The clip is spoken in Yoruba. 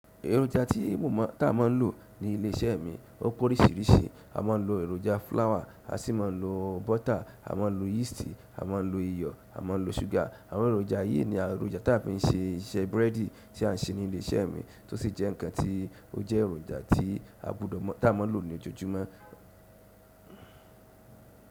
Èròjà tí mo mọ́ tá mọ lò ní ilé iṣẹ́ mi ó pórìsíriṣìí. A máa ń lo èròjà flour, a sì máa ń lo butter, a máa ń lo yeast, a máa ń lo iyọ̀, a máa ń lo sugar. Àwọn èròjà wọ̀nyí ni àwọn èròjà tí a fi ń ṣe ìṣe búrẹ́dì tí a ń ṣe ní ilé iṣẹ́ mi tó sì jẹ́ ǹkan tí ó jẹ́ èròjà tí a gbọdọ̀ mọ tá máa lò ní ojoojúmọ́.